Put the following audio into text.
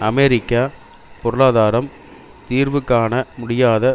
அமெரிக்க பொருளாதாரம் தீர்வு காண முடியாத